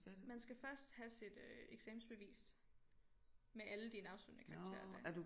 Man skal først have sit øh eksamensbevis med alle dine afsluttende karakterer der